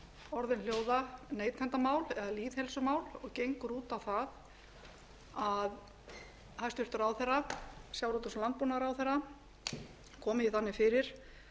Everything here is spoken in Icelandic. orðin hljóða neytendamál eða lýðheilsumál og gengur út á það að hæstvirtur sjávarútvegs og landbúnaðarráðherra komi því þannig fyrir